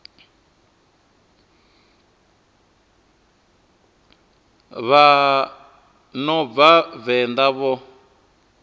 vha no bva venḓa vho